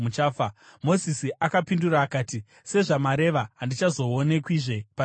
Mozisi akapindura akati, “Sezvamareva, handichazoonekwazve pamberi penyu.”